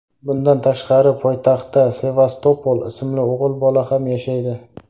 Bundan tashqari poytaxtda Sevastopol ismli o‘g‘il bola ham yashaydi.